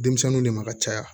Denmisɛnninw de ma ka caya